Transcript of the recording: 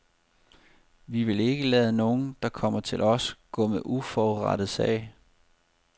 Vi vil ikke lade nogen, der kommer til os, gå med uforrettet sag.